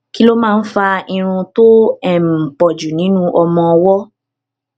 kí ló máa ń fa irun tó um pò jù nínú ọmọ ọwó